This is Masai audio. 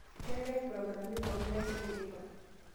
keetae progiram pooki taisere teipa